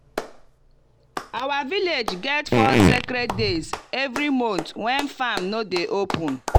our village get four sacred days every month when farm no dey open.